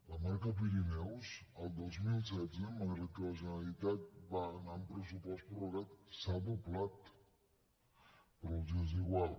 la marca pirineus el dos mil setze malgrat que la generalitat va anar amb pressupost prorrogat s’ha doblat però els és igual